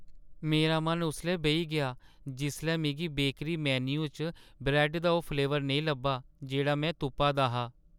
मेरा मन उसलै बेही गेआ जिसलै मिगी बेकरी मेन्यु च ब्रैड्ड दा ओह् फ्लेवर नेईं लब्भा जेह्‌ड़ा में तुप्पा दा हा।